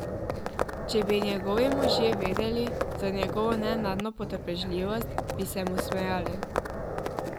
Če bi njegovi možje vedeli za njegovo nenadno potrpežljivost, bi se mu smejali.